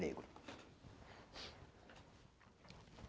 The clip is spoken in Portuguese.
Negro.